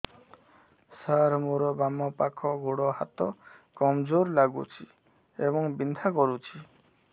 ସାର ମୋର ବାମ ପାଖ ଗୋଡ ହାତ କମଜୁର ଲାଗୁଛି ଏବଂ ବିନ୍ଧା କରୁଛି